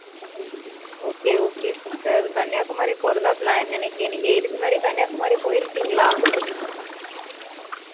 okay okay sister Kanyakumari போறதா, plan நினைக்கிறேன். நீங்க இதுக்கு முன்னாடி, கன்னியாகுமரி போயிருக்கீங்களா